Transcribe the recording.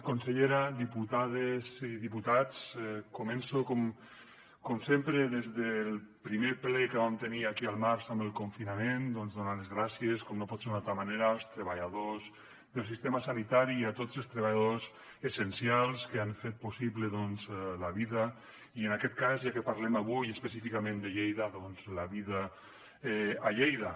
consellera diputades i diputats començo com sempre des del primer ple que vam tenir aquí al març amb el confinament donant les gràcies com no pot ser d’altra manera als treballadors del sistema sanitari i a tots els treballadors essencials que han fet possible doncs la vida i en aquest cas ja que parlem avui específicament de lleida la vida a lleida